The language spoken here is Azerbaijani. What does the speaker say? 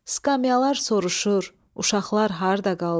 Skamyalar soruşur, uşaqlar harda qaldı?